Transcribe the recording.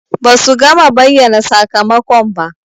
Ba su gama bayyana sakamakon ba.